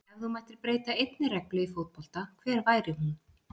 Ef þú mættir breyta einni reglu í fótbolta, hver væri hún?